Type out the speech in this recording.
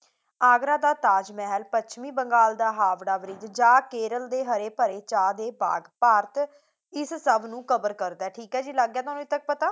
ਆਗਰਾ ਦਾ ਤਾਜ਼ ਮਹਿਲ ਪੱਛਮੀ ਬੰਗਾਲ ਦਾ ਹਾਵੜਾ ਬਰਿੱਜ ਜਾਂ ਕੇਰਲ ਦੇ ਹਰੇ ਭਰੇ ਚਾਹ ਦੇ ਬਾਗ ਭਾਰਤ ਇਸ ਸਭ ਨੂੰ cover ਕਰਦਾ ਹੈ ਠੀਕ ਹੈ ਜੀ ਲੱਗ ਗਿਆ ਤੁਹਾਨੂੰ ਇਸ ਤੱਕ ਪਤਾ?